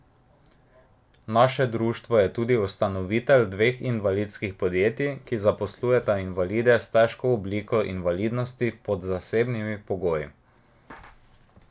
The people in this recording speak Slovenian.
Naše društvo je tudi ustanovitelj dveh invalidskih podjetij, ki zaposlujeta invalide s težko obliko invalidnosti pod posebnimi pogoji.